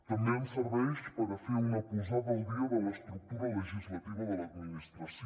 també ens serveix per a fer una posada al dia de l’estructura legislativa de l’administració